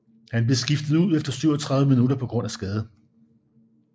Han blev skiftet ud efter 37 minutter på grund af skade